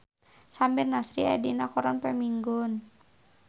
Samir Nasri aya dina koran poe Minggon